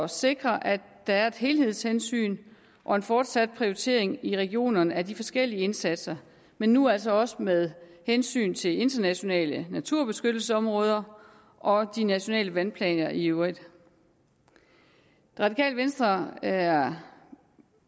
sikre at der er et helhedshensyn og en fortsat prioritering i regionerne af de forskellige indsatser men nu altså også med hensyn til internationale naturbeskyttelsesområder og de nationale vandplaner i øvrigt det radikale venstre er